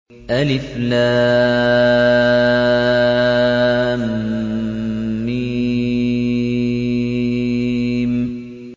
الم